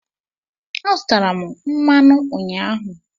Azụtara m mmanụ ụnyaahụ.